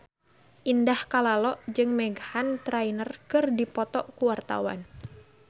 Indah Kalalo jeung Meghan Trainor keur dipoto ku wartawan